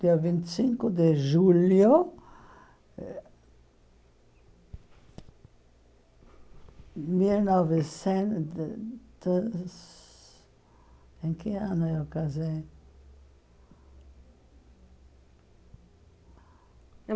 Dia vinte e cinco de julho eh... Mil nocecentos... Em que ano eu casei?